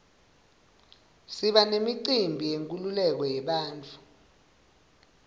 siba nemicimbi yenkululeko yebantfu